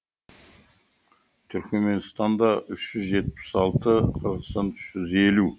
түрікменстанда үш жүз жетпіс алты қырғызстанда үш жүз елу